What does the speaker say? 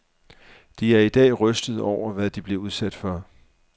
De er i dag rystede over, hvad de blev udsat for.